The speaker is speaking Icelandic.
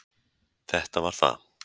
Þetta var það.